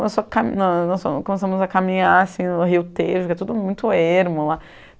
Nós só, nós começamos a caminhar no Rio Tejo, que é tudo muito ermo lá.